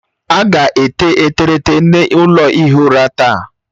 A ga-ete eterete n'ụlọ ihi ụra taa